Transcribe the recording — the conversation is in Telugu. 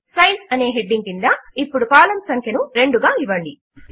సైజ్ అనే హెడింగ్ క్రింద ఇప్పుడు కాలమ్స్ సంఖ్యను 2 గా ఇవ్వండి